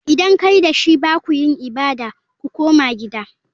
Idan kai da shi ba ku yin ibada. Ku koma gida!